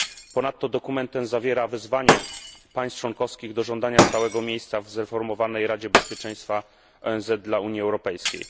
Ponadto dokument ten zawiera wezwanie państw członkowskich do żądania stałego miejsca w zreformowanej Radzie Bezpieczeństwa ONZ dla Unii Europejskiej.